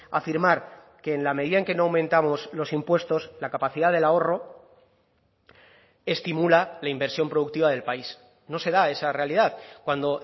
afirmar que en la medida en que no aumentamos los impuestos la capacidad del ahorro estimula la inversión productiva del país no se da esa realidad cuando